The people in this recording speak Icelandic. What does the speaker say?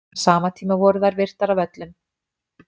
Á sama tíma voru þær virtar af öllum.